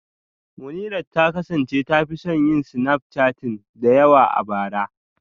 Munirat ta kasance ta fi son yin snapchatting da yawa a bara